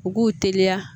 U k'u teliya